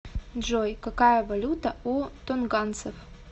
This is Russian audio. джой какая валюта у тонганцев